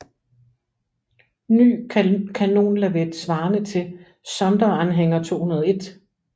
Ny kanonlavet svarende til Sonderanhänger 201